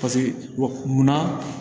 Paseke wa munna